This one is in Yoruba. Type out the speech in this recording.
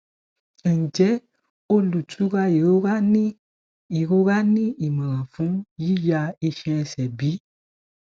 njẹ olutura irora ni irora ni imọran fun yiya iṣan ni ẹsẹ bi